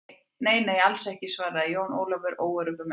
Nei, nei, alls ekki, svaraði Jón Ólafur óöruggur með sig.